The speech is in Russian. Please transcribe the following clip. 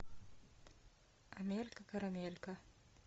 амелька карамелька